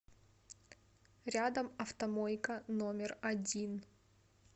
рядом автомойка номер один